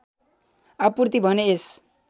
आपुर्ति भने यस